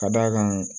Ka d'a kan